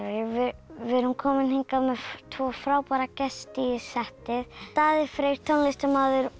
við erum komin hingað með tvo frábæra gesti í settið Daði Freyr tónlistarmaður og